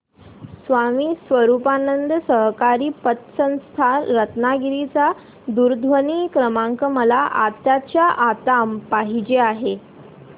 स्वामी स्वरूपानंद सहकारी पतसंस्था रत्नागिरी चा दूरध्वनी क्रमांक मला आत्ताच्या आता पाहिजे आहे